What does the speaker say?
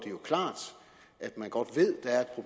at man godt